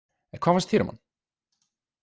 En hvað fannst þér um hann?